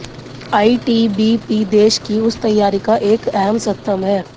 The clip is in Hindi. आईटीबीपी देश की उस तैयारी का एक अहम स्तंभ है